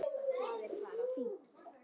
Edda, Högni og börn.